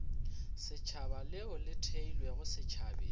setšhaba leo le theilwego setšhabeng